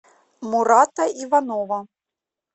мурата иванова